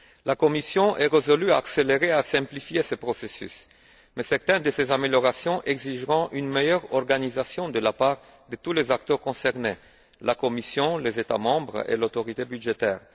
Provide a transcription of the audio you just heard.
La Commission est résolue à accélérer et à simplifier ces procédures, mais certaines de ces améliorations exigeront une meilleure organisation de la part de tous les acteurs concernés la Commission, les États membres et l'autorité budgétaire.